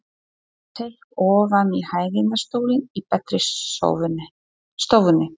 Hann seig ofan í hægindastólinn í betri stofunni.